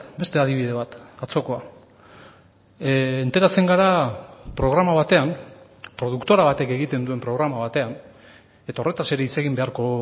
beste adibide bat atzokoa enteratzen gara programa batean produktora batek egiten duen programa batean eta horretaz ere hitz egin beharko